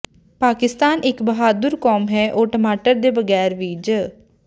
ਪਾਕਿਸਤਾਨ ਇਕ ਬਹਾਦੁਰ ਕੌਮ ਹੈ ਉਹ ਟਮਾਟਰ ਦੇ ਬਗ਼ੈਰ ਵੀ ਜ਼